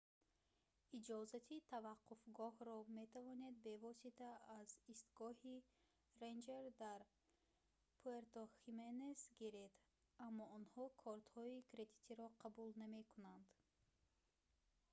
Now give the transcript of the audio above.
иҷозати таваққуфгоҳро метавонед бевосита аз истгоҳи рэнҷер дар пуэрто-хименес гиред аммо онҳо кортҳои кредитиро қабул намекунанд